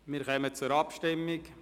Wir kommen zur Abstimmung.